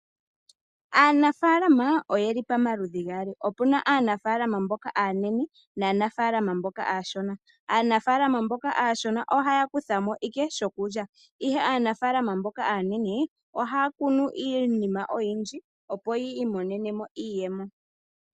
Aanafaalama oyeli pamaludhi gaali, opuna aanafaalama mboka aanene naanafaalama mboka aashona. Aanafaalama mboka aashona ohaya kutha mo ike shokulya ihe aanafaalama mboka aanene ohaa kunu iinima oyindji opo yi imonene mo iiyemo.